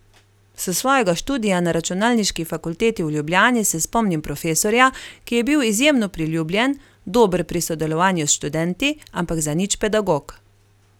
S svojega študija na računalniški fakulteti v Ljubljani se spomnim profesorja, ki je bil izjemno priljubljen, dober pri sodelovanju s študenti, ampak zanič pedagog.